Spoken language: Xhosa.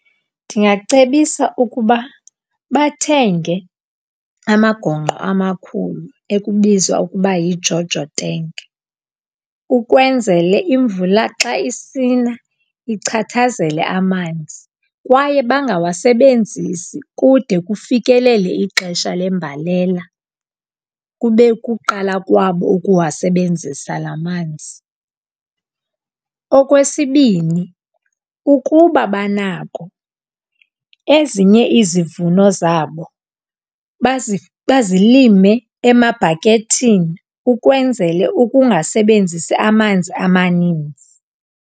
Ndingacebisa ukuba bathenge amagongqo amakhulu ekubizwa ukuba yiJojo tenki ukwenzele imvula xa isina ichathazele amanzi. Kwaye bangawasebenzisi kude kufikelele ixesha lembalela kube kuqala kwabo ukuwasebenzisa la manzi. Okwesibini, ukuba banako, ezinye izivuno zabo bazilime emabhakethini ukwenzele ukungasebenzisi amanzi amaninzi.